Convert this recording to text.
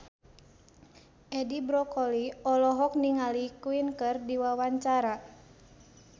Edi Brokoli olohok ningali Queen keur diwawancara